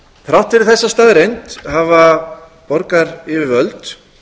þrátt fyrir þessa staðreynd hafa borgaryfirvöld